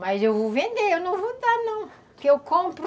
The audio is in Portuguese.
Mas eu vou vender, eu não vou dar não, que eu compro.